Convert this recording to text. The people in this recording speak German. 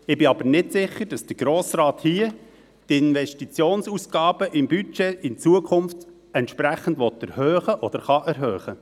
Ich bin aber nicht sicher, dass der Grosse Rat hier die Investitionsausgaben im Budget in Zukunft entsprechend erhöhen will oder kann.